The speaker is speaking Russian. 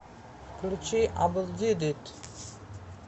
включи абелдидит